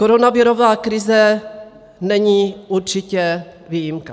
Koronavirová krize není určitě výjimka.